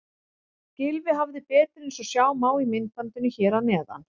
Gylfi hafði betur eins og sjá má í myndbandinu hér að neðan.